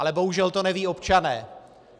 Ale bohužel to nevědí občané.